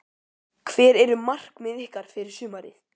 Hver eru markmið ykkar fyrir sumarið?